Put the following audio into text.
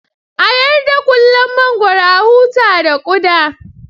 A yarda ƙullon mangwaro, a huta da ƙuda